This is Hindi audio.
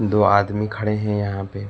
दो आदमी खड़े हैं यहां पे।